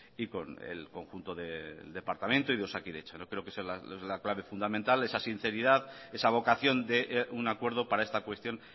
y con el conjunto de departamento y de osakidetza yo creo que esa sea la clave fundamental esa sinceridad esa vocación de un acuerdo para esta cuestión